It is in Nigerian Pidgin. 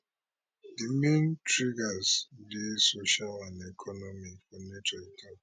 di main triggers dey social and economic for nature